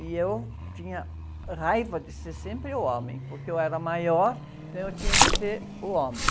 E eu tinha raiva de ser sempre o homem, porque eu era maior, então eu tinha que ser o homem.